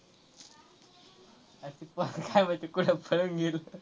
आरं ते पोर काय माहिती कुठं पळून गेलं.